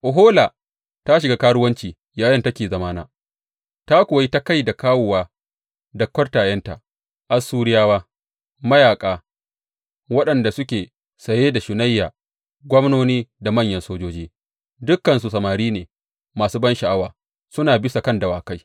Ohola ta shiga karuwanci yayinda take zamana; ta kuwa yi ta kai da kawowa da kwartayenta, Assuriyawa, mayaƙa waɗanda suke saye da shunayya, gwamnoni da manyan sojoji, dukansu samari ne masu bansha’awa, suna bisa kan dawakai.